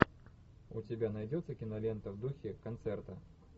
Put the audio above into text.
у тебя найдется кинолента в духе концерта